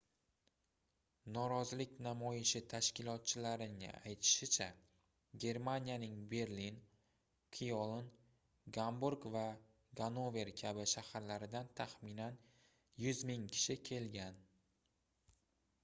norozilik namoyishi tashkilotchilarining aytishicha germaniyaning berlin kyoln gamburg va gannover kabi shaharlaridan taxminan 100 000 kishi kelgan